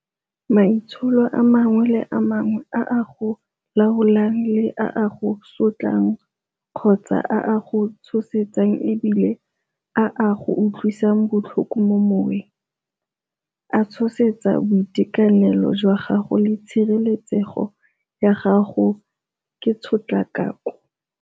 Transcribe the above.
Maitsholo a mangwe le mangwe a a go laolang le a a go sotlang kgotsa a a go tshosetsang e bile a a go utlwisang botlhoko mo moweng, a tshosetsa boitekanelo jwa gago le tshireletsego ya gago ke tshotlakako.